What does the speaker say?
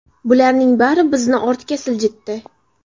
Bularning bari bizni ortga siljitdi.